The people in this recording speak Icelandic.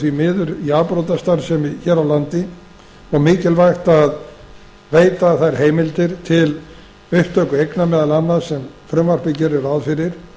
því miður í afbrotastarfsemi hér á landi og mikilvægt að veita þær heimildir til upptöku eigna meðal annars sem frumvarpið gerir ráð fyrir